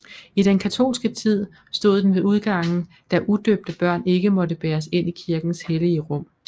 I den katolske tid stod den ved udgangen da udøbte børn ikke måtte bæres ind i kirkens hellige rum